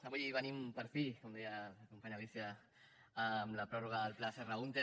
avui venim per fi com deia la companya alícia amb la pròrroga del pla serra húnter